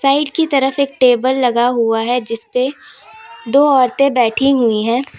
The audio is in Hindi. साइड की तरफ एक टेबल लगा हुआ है जिसपे दो औरतों बैठी हुई है।